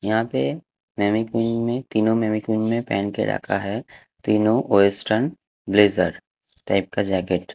यहाँ पे में तीनों में पहन के रखा है तीनों वेस्टर्न ब्लेजर टाइप का जैकेट। --